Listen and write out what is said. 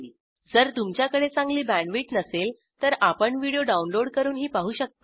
जर तुमच्याकडे चांगली बॅण्डविड्थ नसेल तर आपण व्हिडिओ डाउनलोड करूनही पाहू शकता